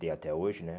Tem até hoje, né?